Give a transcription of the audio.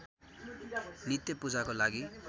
नित्य पूजाको लागि